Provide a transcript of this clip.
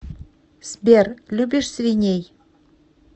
сбер любишь свиней